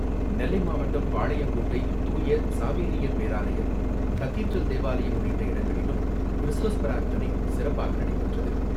நெல்லை மாவட்டம் பாளையங்கோட்டை துாய சவேரியார் பேராலயம், கதீட்ரல் தேவாலயம் உள்ளிட்ட இடங்களிலும் கிறிஸ்மஸ் பிரார்த்தனை சிறப்பாக நடைபெற்றது.